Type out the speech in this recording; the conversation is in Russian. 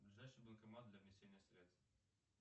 ближайший банкомат для внесения средств